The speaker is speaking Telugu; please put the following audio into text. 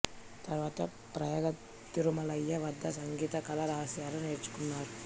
తర్వాత ప్రయాగ తిరుమలయ్య వద్ద సంగీత కళా రహస్యాలు నేర్చుకున్నారు